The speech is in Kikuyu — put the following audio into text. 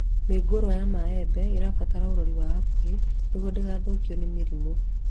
Mĩũngũrwa ya mĩembe ĩbataraga ũrori wa hakuhĩ nĩguo ndĩgathukio nĩ mĩrimũ